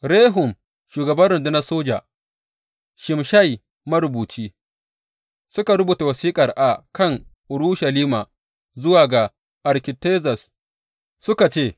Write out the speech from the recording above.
Rehum shugaban rundunar soja, da Shimshai marubuci, suka rubuta wasiƙar a kan Urushalima zuwa ga sarki Artazerzes, suka ce.